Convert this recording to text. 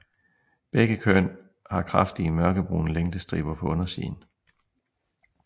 Begge køn har kraftige mørkebrune længdestriber på undersiden